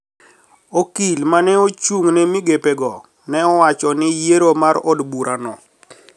Okil ma ne ochung` ne migepe go ne wacho ni yiero mar od bura no